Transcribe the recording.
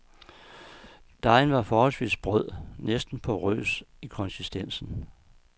Dejen var forholdsvis sprød, næsten porrøs i konsistensen.